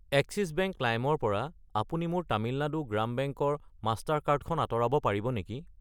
Axis bank lime ৰ পৰা আপুনি মোৰ তামিলনাডু গ্ৰাম বেংক ৰ মাষ্টাৰ কাৰ্ড খন আঁতৰাব পাৰিব নেকি?